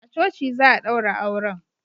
A coci za a daura auren